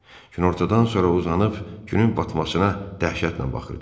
Günortadan sonra uzanıb, günün batmasına dəhşətlə baxırdım.